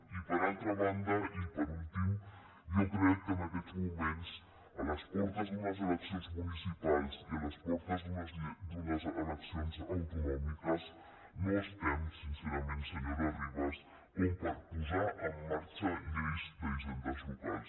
i per altra banda i per últim jo crec que en aquests moments a les portes d’unes eleccions municipals i a les portes d’unes eleccions autonòmiques no estem sincerament senyora ribas per posar en marxa lleis d’hisendes locals